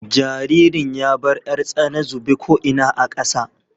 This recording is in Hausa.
Jaririn ya bar 'yar tsana zube ko ina a ƙasa.